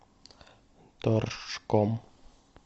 торжком